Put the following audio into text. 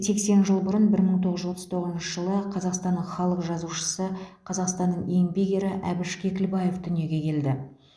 сексен жыл бұрын бір мың тоғыз жүз отыз тоғызыншы жылы қазақстанның халық жазушысы қазақстанның еңбек ері әбіш кекілбаев дүниеге келді